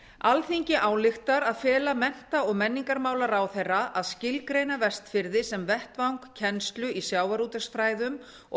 alþingi ályktar að fela mennta og menningarmálaráðherra að skilgreina vestfirði sem vettvang kennslu í sjávarútvegsfræðum og